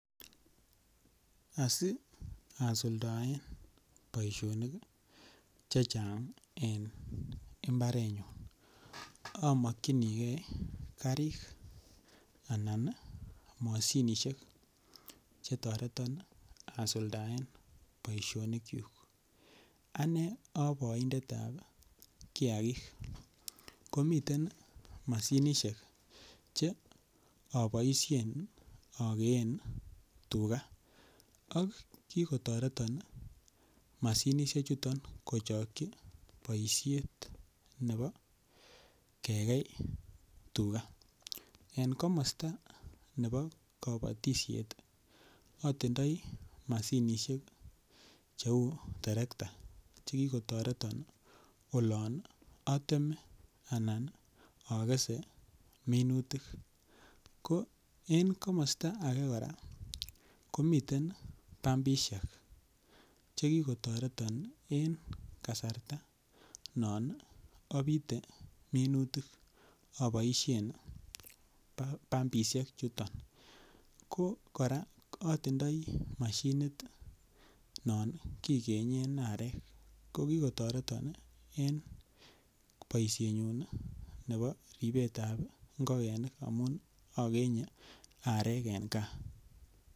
Asi asuldaen boishonik chechang' en imbarenyun amokchinigei karik anan mashinishek chetoreton asuldaen boishonik chu ane aa boindetab kiyakik komiten mashinishek che aboishen akeen tuga ak kikotoreton mashinishechuton kochokchi boishet nebo kekei tuga en komosta nebo kabotishet atindoi mashinishek cheu terekta chekikotireton olon ateme anan akese minutik ko en komosta age kora komiten pambishek chekikotireton en kasarta non abite minutik aboishe bambishek chuto ko kora atindoi mashinit non kikenyen arek ko kikotoreton en boishenyuin nebo ripetab ngokenik amun akenye arek en kaa